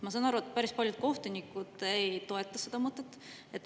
Ma saan aru, et päris paljud kohtunikud ei toeta seda mõtet.